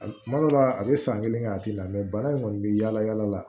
A kuma dɔw la a be san kelen kɛ a ti la bana in kɔni bɛ yaala yaala la